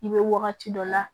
I bɛ wagati dɔ la